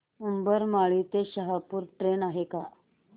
उंबरमाळी ते शहापूर ट्रेन आहे का